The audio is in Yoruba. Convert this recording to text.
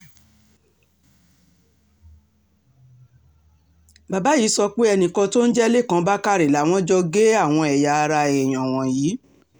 bàbá yìí sọ pé enìkan tó ń jẹ́ lẹ́kàn bàkàrẹ làwọn jọ gé àwọn ẹ̀yà ara èèyàn wọ̀nyí